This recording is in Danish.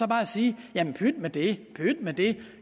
bare sige jamen pyt med det pyt med det